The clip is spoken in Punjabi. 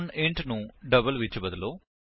ਹੁਣ ਇੰਟ ਨੂੰ ਡਬਲ ਵਿੱਚ ਬਦਲੋ